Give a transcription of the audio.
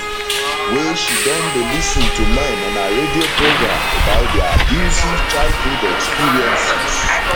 wey she don dey lis ten to men on her radio programme about dia abusive childhood experiences